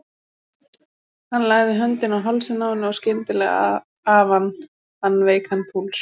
Hann lagði höndina á hálsinn á henni og skyndileg afann hann veikann púls.